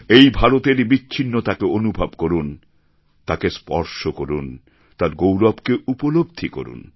এই ভারতের বিচ্ছিন্নতাকে অনুভব করুন তাকে স্পর্শ করুন তার গৌরবকে উপলব্ধি করুন